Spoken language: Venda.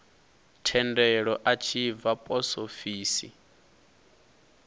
thendelo a tshi bva posofisi